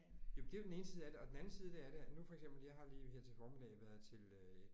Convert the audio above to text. Jamen det er jo den ene side af det og den anden side det af det at nu for eksempel jeg har lige her til formiddag været til